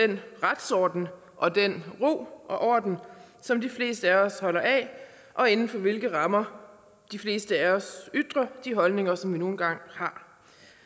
den retsorden og den ro og orden som de fleste af os holder af og inden for hvilke rammer de fleste af os ytrer de holdninger som vi nu engang har